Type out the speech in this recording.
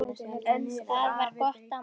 Þetta var gott afmæli.